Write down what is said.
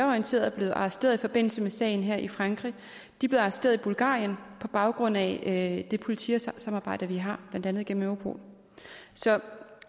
orienteret er blevet arresteret i forbindelse med sagen her i frankrig blev arresteret i bulgarien på baggrund af det politisamarbejde vi har blandt andet gennem europol så